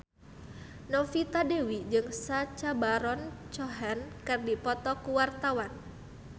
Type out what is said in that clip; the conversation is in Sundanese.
Novita Dewi jeung Sacha Baron Cohen keur dipoto ku wartawan